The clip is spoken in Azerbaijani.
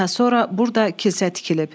Daha sonra burda kilsə tikilib.